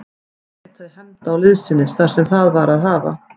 Hann leitaði hefnda og liðsinnis þar sem það var að hafa.